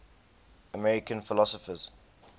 american philosophers